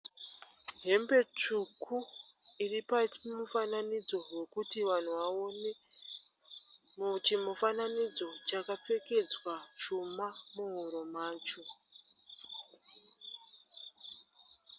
Hembe tsvuku iri pachimufananidzo rwekuti vanhu vaone. Muchimufananidzo chakapfekedzwa chuma muhuro macho.